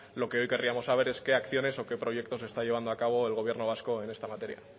lo que hoy queríamos saber es qué acciones o qué proyectos está llevando a cabo el gobierno vasco en esta materia